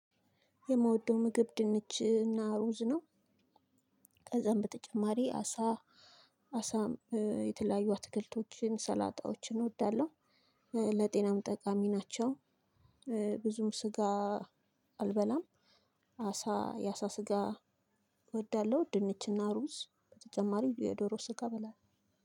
የምወደው ምግብ ድንችና ሩዝ ነው። ከዛም በተጨማሪ አሳ አሳ የተለያዩ አትክልቶችን፣ ሰላጣዎችን እወዳለሁ። ለጤናም ጠቃሚ ናቸው። ብዙም ስጋ አልበላም። አሳ የአሳ ስጋ እወዳለሁ ድንችና ሩዝ በተጨማሪም የዶሮ ስጋ እበላለሁ።